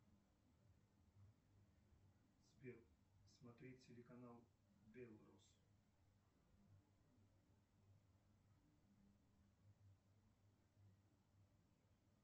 сбер смотреть телеканал белрус